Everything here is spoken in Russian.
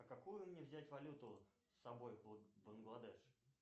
какую мне взять валюту с собой в бангладеш